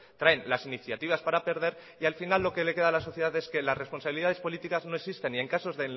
traen las iniciativas para perder y al final lo que le queda a la sociedad es que las responsabilidades políticas no existen y en casos